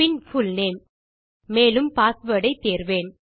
பின் full name மேலும் password ஐ தேர்வேன்